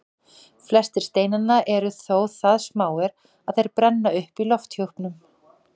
Flestir steinanna eru þó það smáir að þeir brenna upp í lofthjúpnum.